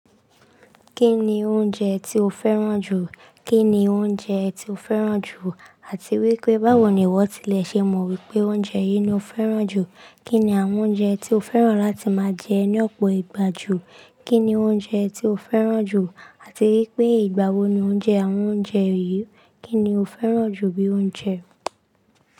Kí ní oúnjẹ tí o fẹ́ràn jù? Kíni ounjẹ tí o fẹ́ràn jù Àti wípé báwo ni ìwọ́ tilẹ̀ ṣe mọ̀ wípé oúnjẹ yìí ni o fẹ́ràn jù? Kí ni àwọn oúnjẹ tí o fẹ́ràn láti máa jẹ ní ọ̀pọ̀ ìgbà jù? Kí ni oúnjẹ tí o fẹ́ràn jù? Àti wípé ìgbà wo ni ó ń jẹ àwọn oúnjẹ yìí? Kí ni o fẹ́ràn jù bí i oúnjẹ?